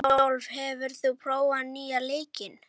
Rúdólf, hefur þú prófað nýja leikinn?